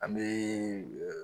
An bɛ